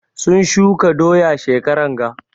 Sun shuka doya shekaran ga.